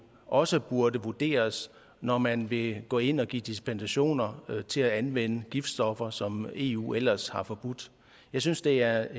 også burde vurderes når man vil gå ind og give dispensationer til at anvende giftstoffer som eu ellers har forbudt jeg synes det er